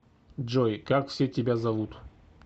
джой как все тебя зовут